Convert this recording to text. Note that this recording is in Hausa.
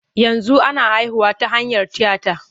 Yanzu ana haihuwa ta hanyar tiyata.